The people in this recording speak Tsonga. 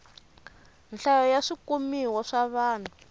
nhlayo ya swikumiwa swa vanhu